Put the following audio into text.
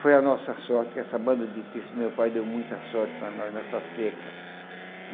Foi a nossa sorte, que essa banda de pife do meu pai deu muita sorte para nós nessa seca.